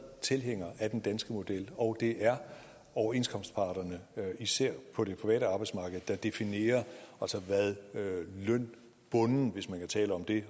tilhænger af den danske model og det er overenskomstparterne især på det private arbejdsmarked der definerer hvad lønbunden hvis man kan tale om det